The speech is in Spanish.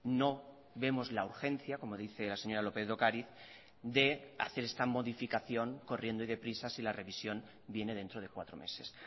no vemos la urgencia como dice la señora lópez de ocariz de hacer esta modificación corriendo y deprisa si la revisión viene dentro de cuatro meses